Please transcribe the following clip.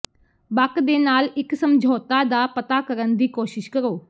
ਬਕ ਦੇ ਨਾਲ ਇੱਕ ਸਮਝੌਤਾ ਦਾ ਪਤਾ ਕਰਨ ਦੀ ਕੋਸ਼ਿਸ਼ ਕਰੋ